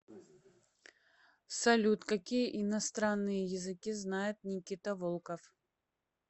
салют какие иностранные языки знает никита волков